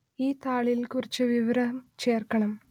ഈ താളിൽ കുറച്ച് വിവരം ചേർക്കണം